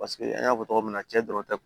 Paseke an y'a fɔ cogo min na cɛ dɔrɔn tɛ